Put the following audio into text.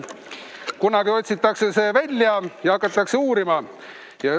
Kunagi otsitakse see välja ja hakatakse uurima.